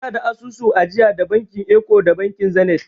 Ina da asusun ajiya da bankin eko da bankin zenit.